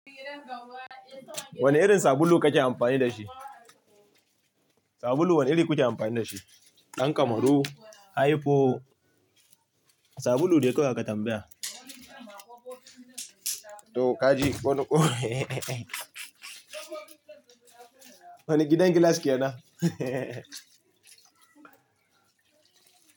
Wane irin sabulu kake amfani da shi? Sabulu wane iri kuke amfani da shi? Ɗan kamaru, ayfo, sabulu dai kawai aka tambaya. To kaji wani ƙo wani gidan gilas kenan?